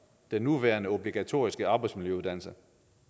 den nuværende obligatoriske arbejdsmiljøuddannelse